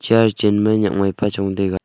chair chenma nyakmai pa chong taiga.